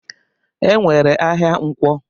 E nwere ahịa Nkwọ.